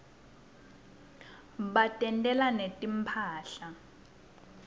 batentela netimphahla